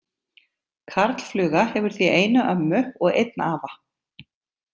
Karlfluga hefur því eina ömmu og einn afa.